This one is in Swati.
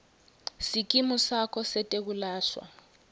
sikimu sakho setekwelashwa